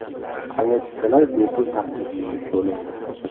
Aviachiptalar bepul taqdim etib bo‘lindi.